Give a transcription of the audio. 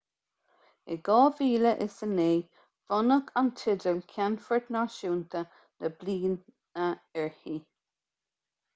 in 2009 bronnadh an teideal ceannfort náisiúnta na bliana uirthi